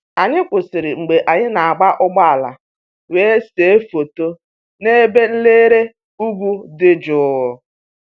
Anyị kwụsịrị mgbe anyị na-agba ụgbọala wee see foto n'ebe nlere ugwu dị jụụ